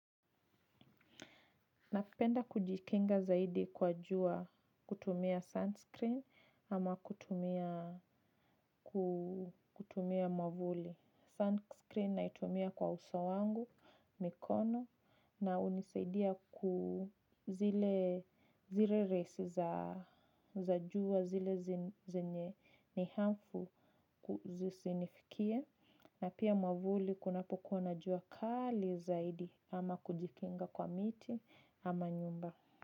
Napenda kujikinga zaidi kwa jua kutumia sunscreen ama kutumia mwavuli sunscreen naitumia kwa uso wangu mikono na hunisaidia ku zile rays za jua zile zenye ni harmful zisinifikie. Na pia mwavuli kunapokua na jua kali zaidi ama kujikinga kwa miti ama nyumba.